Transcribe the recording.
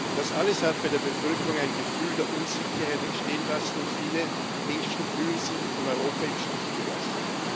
Das alles hat bei der Bevölkerung ein Gefühl der Unsicherheit entstehen lassen, und viele Menschen fühlen sich von Europa im Stich gelassen.